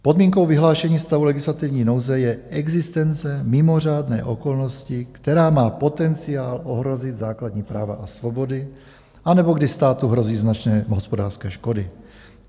Podmínkou vyhlášení stavu legislativní nouze je existence mimořádné okolnosti, která má potenciál ohrozit základní práva a svobody, anebo kdy státu hrozí značné hospodářské škody.